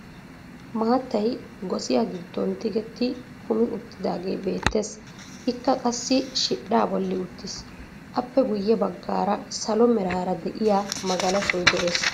Maattay gossiyaa giddon tigetti kumi uttidagee beettees. Ikka qassi shiidhdhaa bolli uttiis. Appe guyye baggaara salo meraara de'iyaa magalashshoy de'ees.